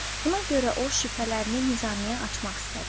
Buna görə o, şübhələrini Nizamiye açmaq istədi.